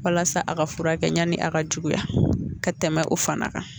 Walasa a ka furakɛ yanni a ka juguya ka tɛmɛ o fana kan